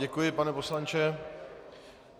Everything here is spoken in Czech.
Děkuji, pane poslanče.